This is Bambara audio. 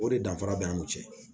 O de danfara bɛ an ni ɲɔgɔn cɛ